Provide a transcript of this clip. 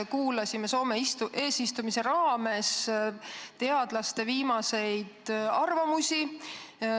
Kuulasime Soome eesistumise raames teadlaste viimaseid arvamusi.